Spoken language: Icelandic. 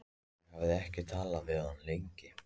Ég hafði ekki talað við hann lengi.